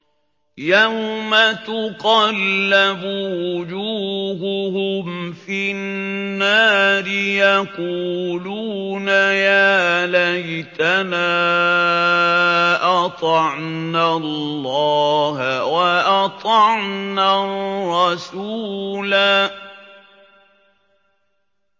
يَوْمَ تُقَلَّبُ وُجُوهُهُمْ فِي النَّارِ يَقُولُونَ يَا لَيْتَنَا أَطَعْنَا اللَّهَ وَأَطَعْنَا الرَّسُولَا